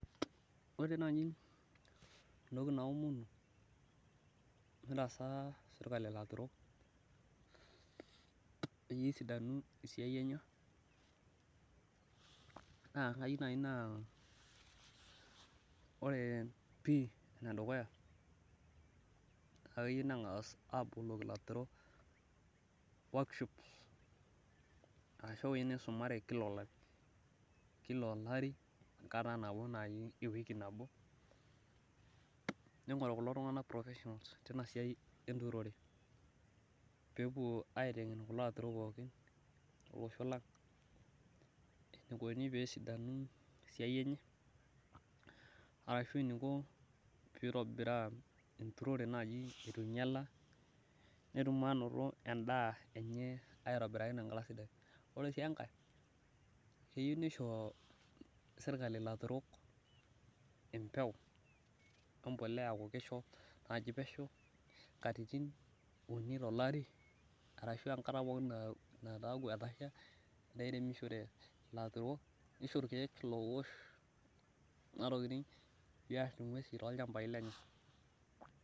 Ore naai entoki naomonu mitaasa sirkali ilarurok peyie esidanu esiai enye naa kayieu naai naa ore pii enedukuya naa keyeu neng'as aaboloki ilaturok workshop ashu ewuei nisumare kila olari, kila olari, enkata naai napwonu ewiki nabo ning'oru kulo tung'anak professionals tina siai enturore peepwo aiteng'en kulo aturok pookin lolosho lang enikuni peesidanu esiai enye arashu eniko peitobiraa enturore naai etu inyala netum ainoto endaa enye aitobiraki tenkata sidai. Ore sii enkae keyieu nisho sirkali ilaturok empeu wembolea aaku kisho naaji pesho katitin uni tolari arashu enkata pookin naataku kesha nishori ilaturok. Nisho irkiek loowosh kuna tokiting piarr ng'wesi toolchambai lenye